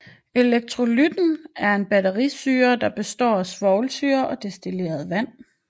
Elektrolytten er en batterisyre der består af svovlsyre og destilleret vand